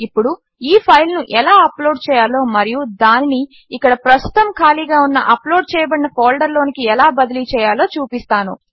ఇప్పుడు ఈ ఫైల్ను ఎలా అప్లోడ్ చేయాలో మరియు దానిని ఇక్కడ ప్రస్తుతము ఖాళీగా ఉన్న అప్లోడ్ చేయబడిన ఫోల్డరులోనికి ఎలా బదిలీచేయాలో చూపిస్తాను